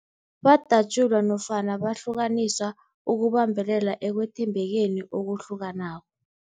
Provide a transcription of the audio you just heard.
Badatjulwa nofana bahlukaniswa ukubambelela ekwethembekeni okuhlukanako.